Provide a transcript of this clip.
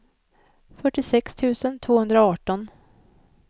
fyrtiosex tusen tvåhundraarton